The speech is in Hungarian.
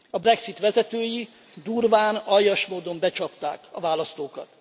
A Brexit vezetői durván, aljas módon becsapták a választókat.